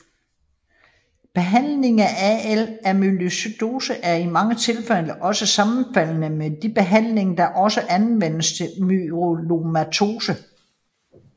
Behandlingen af AL Amyloidose er i mange tilfælde også sammenfaldende med de behandlinger der også anvendes til myelomatose